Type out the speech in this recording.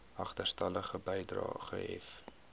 agterstallige bedrae gehef